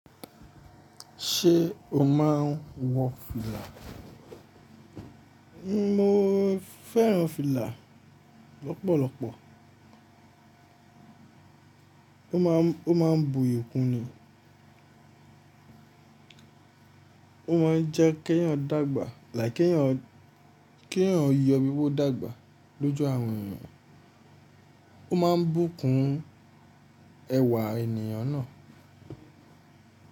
Ṣé o máa ń wọ fìlà? Mo fẹ́ràn fìlà lọ́pọ̀lọpọ̀. Ó máa ń, ó máa ń buyì kun ni. Ó máa ń jẹ́ kí ènìyàn dàgbà, like kẹ́ ènìyàn, kí ènìyàn yí ọ bí ó dàgbà lójú àwọn ènìyàn. Ó máa ń bùkún ẹwà ènìyàn náà.